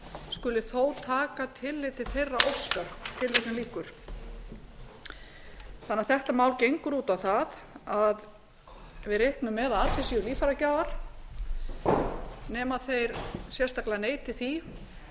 skuli þó taka tillit til þeirrar óskar þannig að þetta mál gengur út á það að við reiknum með að allir séu líffæragjafar nema þeir sérstaklega neiti því